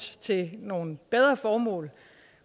til nogle bedre formål